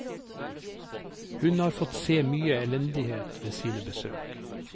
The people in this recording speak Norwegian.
Hun har fått se mye elendighet ved sine besøk.